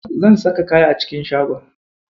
Zan saka kaya a cikin shagon.